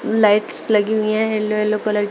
Lights लगी हुई हैं येलो येलो कलर की।